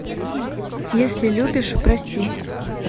если любишь прости